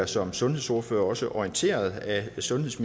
som sundhedsordførere også bliver orienteret af sundheds